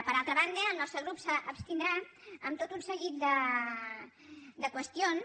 per altra banda el nostre grup s’abstindrà en tot un seguit de qüestions